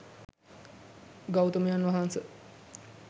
ගෞතමයන් වහන්ස,